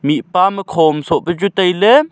mihpa am khoma soh pe chu taile.